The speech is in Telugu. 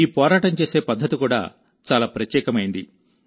ఈ పోరాటం చేసే పద్ధతి కూడా చాలా ప్రత్యేకమైంది